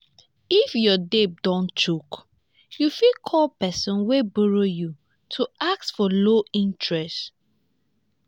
if your debt don choke you fit call person wey borrow you to ask for low interest